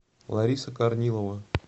лариса корнилова